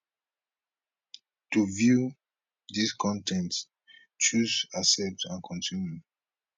to view dis con ten t choose accept and continue